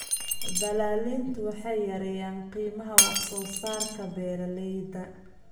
Dallaaliintu waxay yareeyaan qiimaha wax soo saarka beeralayda.